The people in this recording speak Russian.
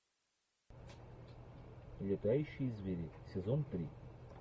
летающие звери сезон три